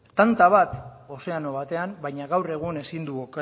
tanta bat ozeano batean baina gaur egun ezin dugu